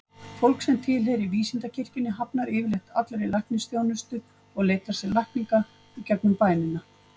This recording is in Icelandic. Fólk sem tilheyrir vísindakirkjunni hafnar yfirleitt allri læknisþjónustu og leitar sér lækninga gegnum bænina.